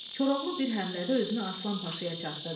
Koroğlu bir həmlədə özünü Aslan Paşaya çatdırdı.